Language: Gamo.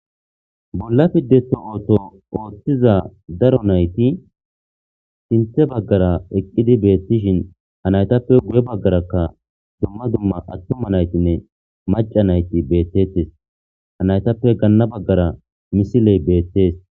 Bolla pideto ooto ooththiza daro nayti sinthe baggara eqqidi beettishin hanaytappe guye baggarakka dumma dumma attuma naytinne maca nayti beettettes hanaytappe ganna baggara misiley beettees